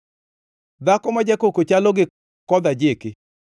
Dhako ma jakoko chalo gi kodh ajiki,